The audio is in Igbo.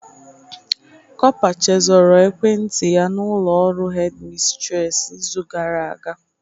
Copa chezoro ekwent yaị n'ụlọ ọrụ hedimistress izu gara aga.